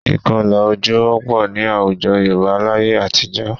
Ìkọlà ojú wọ́pọ̀ ní àwùjọ Yorùbá láye àtijọ́